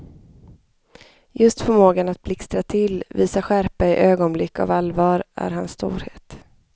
Just förmågan att blixtra till, visa skärpa i ögonblick av allvar, är hans storhet.